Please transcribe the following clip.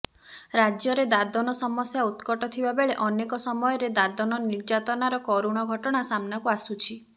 ରାଜ୍ୟରେ ଦାଦନ ସମସ୍ୟା ଉତ୍କଟ ଥିବା ବେଳେ ଅନେକ ସମୟରେ ଦାଦନ ନିର୍ଯାତନାର କରୁଣ ଘଟଣା ସାମ୍ନାକୁ ଆସୁଛି